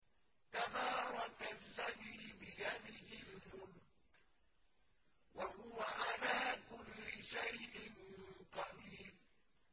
تَبَارَكَ الَّذِي بِيَدِهِ الْمُلْكُ وَهُوَ عَلَىٰ كُلِّ شَيْءٍ قَدِيرٌ